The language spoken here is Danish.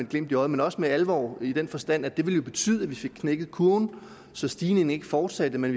glimt i øjet men også med alvor i den forstand at det jo ville betyde at vi fik knækket kurven så stigningen ikke fortsatte men